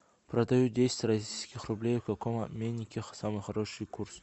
продаю десять российских рублей в каком обменнике самый хороший курс